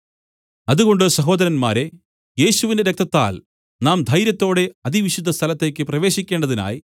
അതുകൊണ്ട് സഹോദരന്മാരേ യേശുവിന്റെ രക്തത്താൽ നാം ധൈര്യത്തോടെ അതിവിശുദ്ധസ്ഥലത്തേക്ക് പ്രവേശിക്കേണ്ടതിനായി